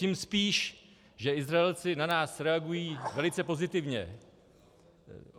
Tím spíš, že Izraelci na nás reagují velice pozitivně.